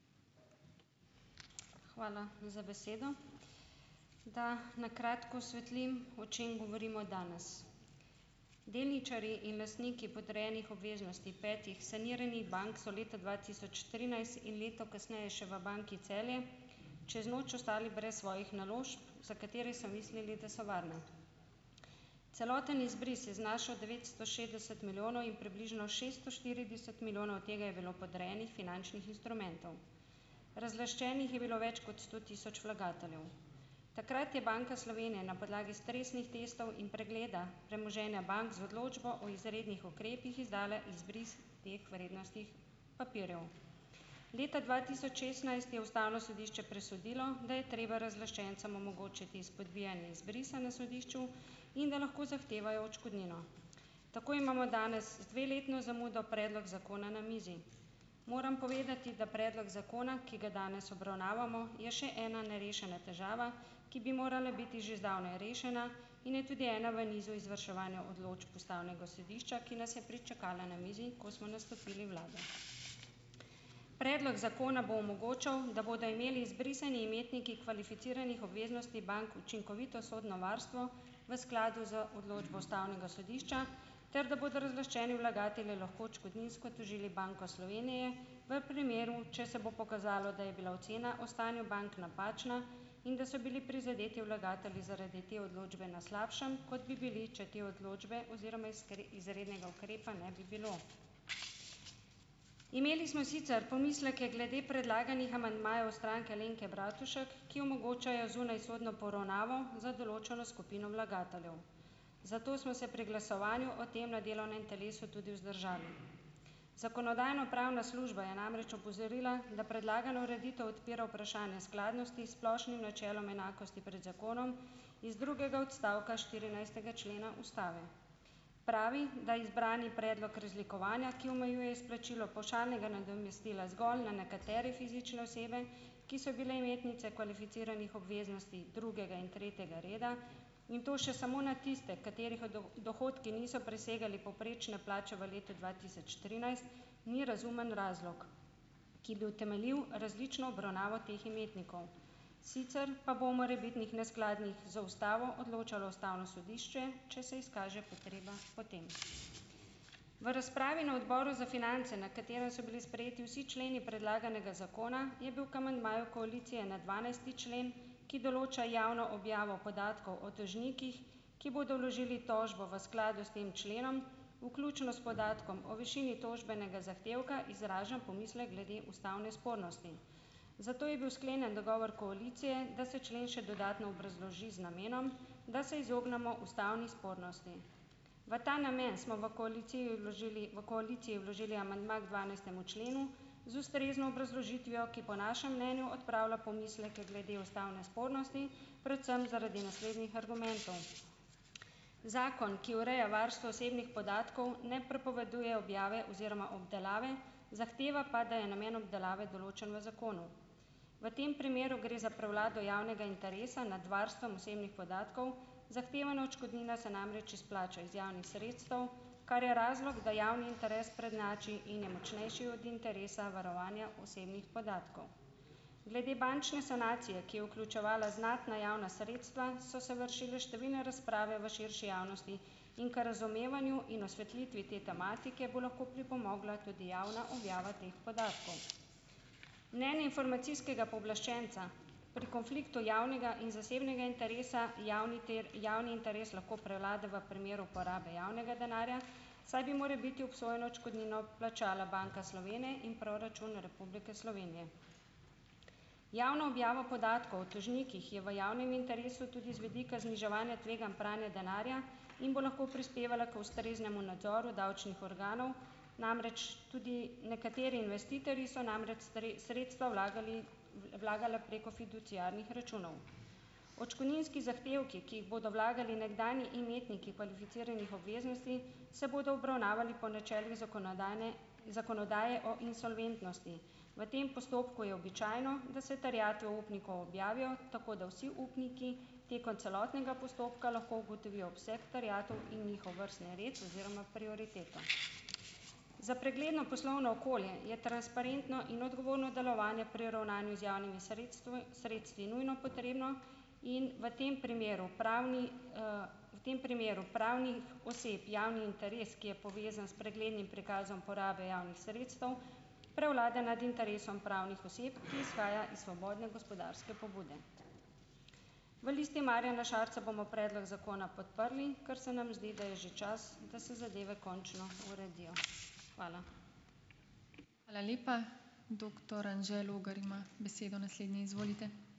Hvala za besedo. Da, na kratko osvetlim, o čem govorimo danes, delničarji in lastniki podrejenih obveznosti petih saniranih bank so leta dva tisoč trinajst in leto kasneje še v Banki Celje čez noč ostali brez svojih naložb, za katere so mislili, da so varne, celoten izbris je znašal devetsto šestdeset milijonov in približno šeststo štirideset milijonov, tega je bilo podrejenih finančnih instrumentov, razlaščenih je bilo več kot sto tisoč vlagateljev. Takrat je Banka Slovenije na podlagi stresnih testov in pregleda premoženja bank z odločbo o izrednih ukrepih izdala izbris teh vrednostih papirjev. Leta dva tisoč šestnajst je ustavno sodišče presodilo, da je treba razlaščencem omogočiti izpodbijanje izbrisa na sodišču in da lahko zahtevajo odškodnino, tako imamo danes z dveletno zamudo predlog zakona na mizi. Moram povedati, da predlog zakona, ki ga danes obravnavamo, je še ena nerešena težava, ki bi morala biti že zdavnaj rešena in je tudi ena v nizu izvrševanja odločb ustavnega sodišča, ki nas je pričakala na mizi, ko smo nastopili vlado. Predlog zakona bo omogočal, da bodo imeli izbrisani imetniki kvalificiranih obveznosti bank učinkovito sodno varstvo v skladu z odločbo ustavnega sodišča ter da bodo razlaščeni vlagatelji lahko odškodninsko tožili Banko Slovenije v primeru, če se bo pokazalo, da je bila ocena o stanju bank napačna in da so bili prizadeti vlagatelji zaradi te odločbe na slabšem, kot bi bili če te odločbe oziroma izrednega ukrepa ne bi bilo. Imeli smo sicer pomisleke glede predlaganih amandmajev Stranke Alenke Bratušek, ki omogočajo zunajsodno poravnavo za določeno skupino vlagateljev, zato smo se pri glasovanju o tem na delovnem telesu tudi vzdržali. Zakonodajno-pravna služba je namreč opozorila, da predlagana ureditev odpira vprašanja skladnosti splošnim načelom enakosti pred zakonom iz drugega odstavka štirinajstega člena ustave pravi, da izbrani predlog razlikovanja, ki omejuje izplačilo pavšalnega nadomestila zgolj na nekatere fizične osebe, ki so bile imetnice kvalificiranih obveznosti drugega in tretjega reda, in to še samo na tiste, katerih dohodki niso presegali povprečne plače v letu dva tisoč trinajst, ni razumen razlog, ki bi utemeljil različno obravnavo teh imetnikov, sicer pa bo morebitnih neskladnih z ustavo odločalo ustavno sodišče, če se izkaže potreba po tem. V razpravi na odboru za finance, na katero so bili sprejeti vsi členi predlaganega zakona, je bil k amandmaju koalicije na dvanajsti člen, ki določa javno objavo podatkov o dolžnikih, ki bodo vložili tožbo v skladu s tem členom, vključno s podatkom o višini tožbenega zahtevka, izraža pomislek glede ustavne spornosti, zato je bil sklenjen dogovor koalicije, da se člen še dodatno obrazloži z namenom, da se izognemo ustavni spornosti, v ta namen smo v koaliciji vložili v koaliciji vložili amandma k dvanajstemu členu z ustrezno obrazložitvijo, ki po našem mnenju odpravlja pomisleke glede ustavne spornosti, predvsem zaradi naslednjih argumentov. Zakon, ki ureja varstvo osebnih podatkov, ne prepoveduje objave oziroma obdelave, zahteva pa, da je namen obdelave določen v zakonu, v tem primeru gre za prevlado javnega interesa nad varstvom osebnih podatkov, zahtevana odškodnina se namreč izplača iz javnih sredstev, kar je razlog, da javni interes prednjači in je močnejši od interesa varovanja osebnih podatkov, glede bančne sanacije, ki je vključevala znatna javna sredstva, so se vršile številne razprave v širši javnosti in k razumevanju in osvetlitvi te tematike, bo lahko pripomogla tudi javna objava teh podatkov. Mnenje informacijskega pooblaščenca pri konfliktu javnega in zasebnega interesa javni javni interes lahko prevlada v primeru porabe javnega denarja, saj bi morebiti obsojeno odškodnino plačala Banka Slovenije in proračun Republike Slovenije. Javno objavo podatkov o tožnikih je v javnem interesu tudi z vidika zniževanja tveganj pranja denarja in bo lahko prispevala k ustreznemu nadzoru davčnih organov, namreč tudi nekateri investitorji so namreč sredstva vlagali, vlagala preko fiduciarnih računov, odškodninski zahtevki, ki jih bodo vlagali nekdanji imetniki kvalificiranih obveznosti, se bodo obravnavali po načelih zakonodajne zakonodaje o insolventnosti. V tem postopku je običajno, da se terjatev upnikov objavijo, tako da vsi upniki tekom celotnega postopka lahko ugotovijo obseg terjatev in njihov vrstni red oziroma prioriteto. Za pregledno poslovno okolje je transparentno in odgovorno delovanje pri ravnanju z javnimi sredstvi sredstvi nujno potrebno in v tem primeru pravni, v tem primeru pravnih oseb javni interes, ki je povezan s preglednim prikazom porabe javnih sredstev, prevlade nad interesom pravnih oseb, ki izhaja iz svobodne gospodarske pobude. V Listi Marjana Šarca bomo predlog zakona podprli, ker se nam zdi, da je že čas, da se zadeve končno uredijo. Hvala.